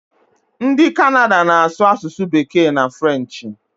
Ndị Kanada na-asụ asụsụ bekee na frenchị